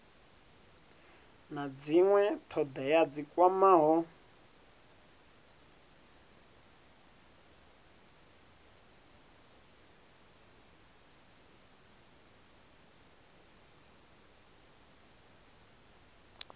na dzinwe thodea dzi kwamaho